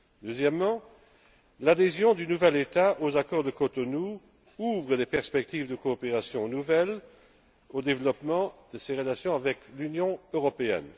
Deuxièmement l'adhésion du nouvel État aux accords de Cotonou ouvre des perspectives de coopération nouvelles pour le développement de ses relations avec l'Union européenne.